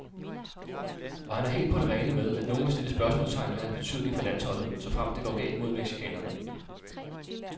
Og han er helt på det rene med, at nogle vil stille spørgsmålstegn ved hans betydning for landsholdet, såfremt det går galt mod mexicanerne.